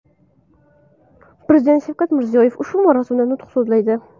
Prezident Shavkat Mirziyoyev ushbu marosimda nutq so‘zlaydi.